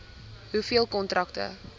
hoeveel kontrakte